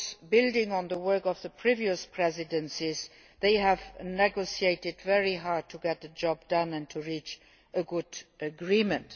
Building on the work of previous presidencies, it negotiated very hard to get the job done and to reach a good agreement.